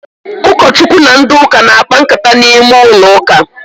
Ụkọ Chukwu na ndị ụka na-akpa nkata n'ime ụlọ uka